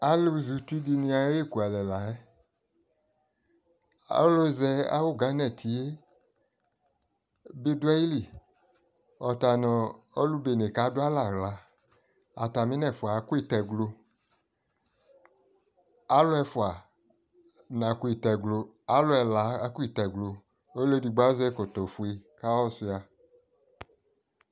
alʋ zɛ ʋti dini ayiɛ kʋalɛ layɛ, alʋ zɛ awʋ Ghana tiɛ bi dʋ ayili, ɔtanʋɔ alʋ bɛnɛ kadʋ alɛ ala, atami nɛ ƒʋa akɔ ɛtɛglɔ, alʋ ɛƒʋa nakɔ ɛtɛglɔ, alʋ ɛla akɔ ɛtɛglɔ, ɔlʋ ɛdigbɔ azɛ ɛkɔtɔ kʋ ayɔ sua